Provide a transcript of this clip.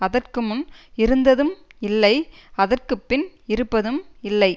அதற்கு முன் இருந்ததும் இல்லை அதற்கு பின் இருப்பதும் இல்லை